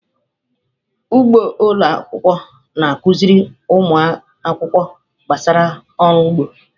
Ugbo ụlọ akwụkwọ na-akụziri ụmụ akwụkwọ gbasara ọrụ ugbo.